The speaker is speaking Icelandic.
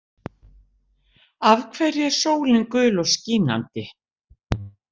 Af hverju er sólin gul og skínandi?